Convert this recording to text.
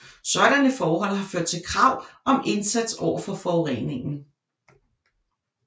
Sådanne forhold har ført til krav om indsats overfor forureningen